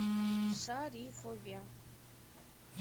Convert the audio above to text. шарифове